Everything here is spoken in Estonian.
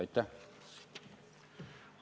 Aitäh!